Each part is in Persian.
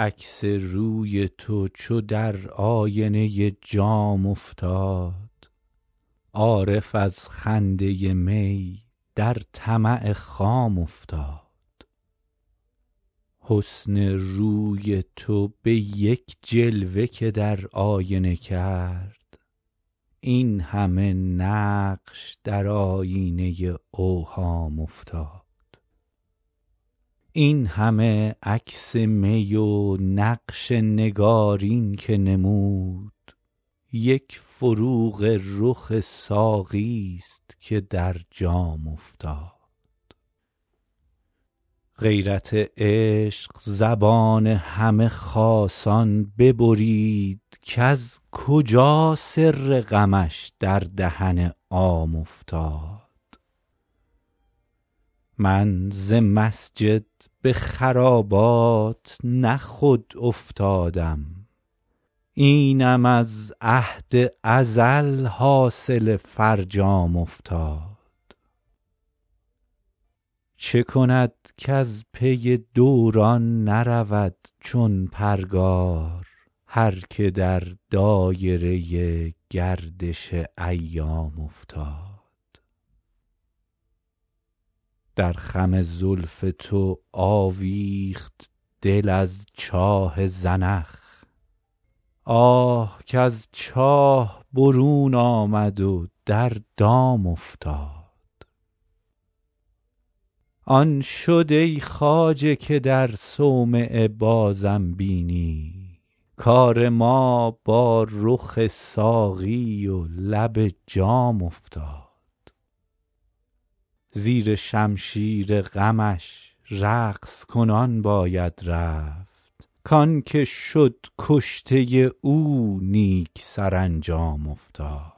عکس روی تو چو در آینه جام افتاد عارف از خنده می در طمع خام افتاد حسن روی تو به یک جلوه که در آینه کرد این همه نقش در آیینه اوهام افتاد این همه عکس می و نقش نگارین که نمود یک فروغ رخ ساقی ست که در جام افتاد غیرت عشق زبان همه خاصان ببرید کز کجا سر غمش در دهن عام افتاد من ز مسجد به خرابات نه خود افتادم اینم از عهد ازل حاصل فرجام افتاد چه کند کز پی دوران نرود چون پرگار هر که در دایره گردش ایام افتاد در خم زلف تو آویخت دل از چاه زنخ آه کز چاه برون آمد و در دام افتاد آن شد ای خواجه که در صومعه بازم بینی کار ما با رخ ساقی و لب جام افتاد زیر شمشیر غمش رقص کنان باید رفت کـ آن که شد کشته او نیک سرانجام افتاد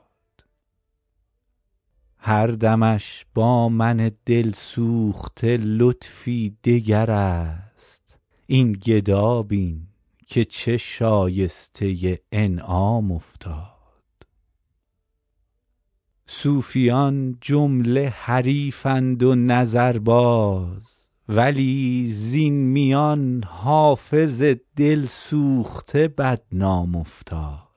هر دمش با من دل سوخته لطفی دگر است این گدا بین که چه شایسته انعام افتاد صوفیان جمله حریفند و نظرباز ولی زین میان حافظ دل سوخته بدنام افتاد